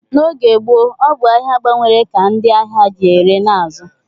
N'oge gboo, ọ bụ ahịa gbanwere ka ndị ahịa ji ere na azụ